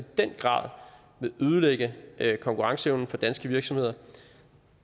den grad vil ødelægge konkurrenceevnen for danske virksomheder